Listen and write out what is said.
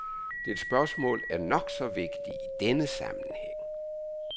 Dit spørgsmål er nok så vigtig i denne sammenhæng.